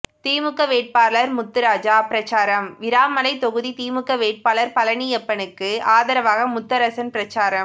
திமுக வேட்பாளர் முத்துராஜா பிரசாரம் விராமலை தொகுதி திமுக வேட்பாளர் பழனியப்பனுக்கு ஆதரவாக முத்தரசன் பிரசாரம்